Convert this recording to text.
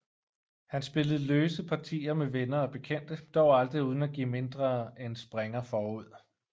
Han spillede løse partier med venner og bekendte dog aldrig uden at give mindre end springer forud